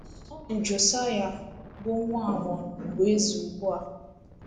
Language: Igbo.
Ọ bụ Josaịa, bụ́ nwa Amọn, bụ eze ugbu a.